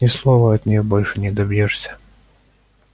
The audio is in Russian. ни слова от неё больше не добьшься